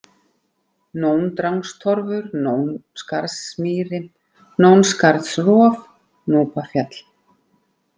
Nóndrangstorfur, Nónskarðsmýri, Nónskarðsrof, Núpafjall